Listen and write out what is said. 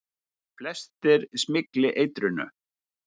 Flestir smygli eitrinu.